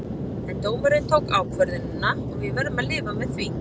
En dómarinn tók ákvörðunina og við verðum að lifa með því.